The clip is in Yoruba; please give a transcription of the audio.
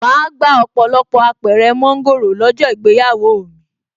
Màá gba ọ̀pọ̀lọpọ̀ Apẹ̀rẹ̀ mọ́ńgòrò lọ́jọ́ ìgbéyàwó mi